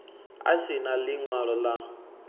a si na ḽiṅwalo ḽa